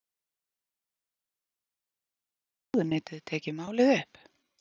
Guðrún: Og þá gæti ráðuneytið tekið málið upp?